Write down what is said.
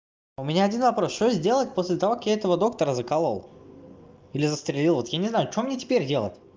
у меня один вопрос что сделать после того как я этого доктора заколол или застрелил вот я не знаю что мне теперь делать